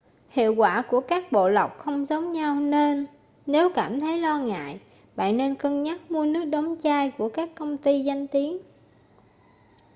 hiệu quả của các bộ lọc không giống nhau nên nếu cảm thấy lo ngại bạn nên cân nhắc mua nước đóng chai của các công ty danh tiếng